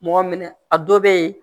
Mɔgɔ minɛ a dɔ bɛ yen